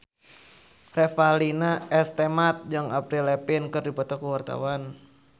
Revalina S. Temat jeung Avril Lavigne keur dipoto ku wartawan